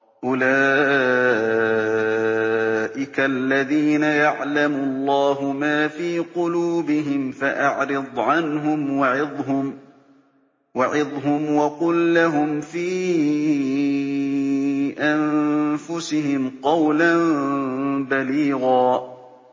أُولَٰئِكَ الَّذِينَ يَعْلَمُ اللَّهُ مَا فِي قُلُوبِهِمْ فَأَعْرِضْ عَنْهُمْ وَعِظْهُمْ وَقُل لَّهُمْ فِي أَنفُسِهِمْ قَوْلًا بَلِيغًا